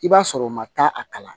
I b'a sɔrɔ u ma taa a kalan